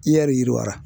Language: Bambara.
I yɛrɛr yiriwara